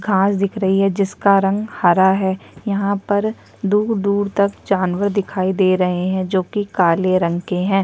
घास दिख रही हैं जिसका रंग हरा है यह पर दूर-दूर तक जानवर दिखाई रहे हैं जो की काले रंग के हैं।